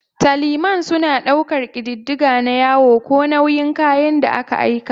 'Tallymen' suna ɗaukar ƙididdiga na yawa ko nauyin kayan da aka aika.